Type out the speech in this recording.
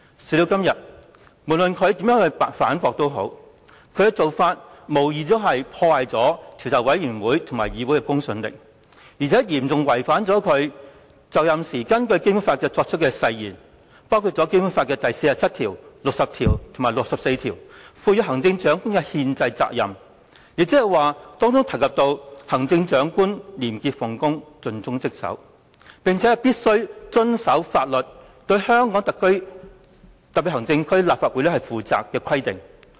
事到如今，無論他如何反駁，其做法亦無疑破壞了專責委員會及議會的公信力，並嚴重違反他在就任時根據《基本法》所作的誓言，包括第四十七條、第六十條及第六十四條賦予行政長官的憲制責任，即是有關"行政長官廉潔奉公、盡忠職守，並且必須遵守法律，對香港特別行政區立法會負責"的規定。